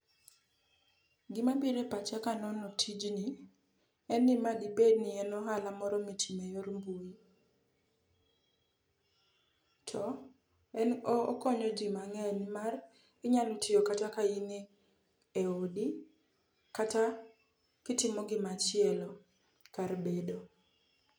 Gimabiro e pacha kanono tijni en ni ma dibedni en ohala moro mitimo e yor mbui, to en okonyo ji mang'eny nimar inyalo tiyo kata ka in e odi kata kitimo gimachielo kar bedo.